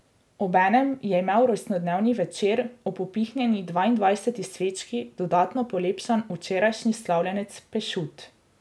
Obenem je imel rojstnodnevni večer ob upihnjeni dvaindvajseti svečki dodatno polepšan včerajšnji slavljenec Pešut.